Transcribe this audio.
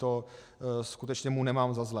To skutečně mu nemám za zlé.